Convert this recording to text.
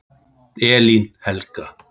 Elín Helga.